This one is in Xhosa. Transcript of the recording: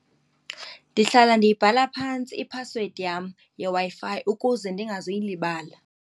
Ndihlala ndiyibhatala phantsi iphasiwedi yam yeWi-Fi ukuze endingazuyilibala.